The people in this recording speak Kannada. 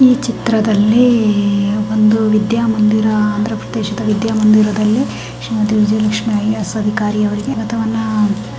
ಈ ಚಿತ್ರದಲ್ಲಿ ಒಂದು ವಿದ್ಯಾಮಂದಿರ ಆಂಧ್ರಪ್ರದೇಶದಲ್ಲಿ ವಿದ್ಯಾಮಂದಿರದಲ್ಲಿ Shrimati Vijayalakshmi I A S ಅವರಿಗೆ ಸ್ವಾಗತವನ್ನ--